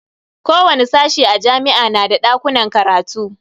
Kowani sashe a jami'a na da dakunan karatu.